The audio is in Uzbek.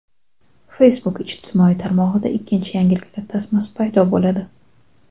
Facebook ijtimoiy tarmog‘ida ikkinchi yangiliklar tasmasi paydo bo‘ladi.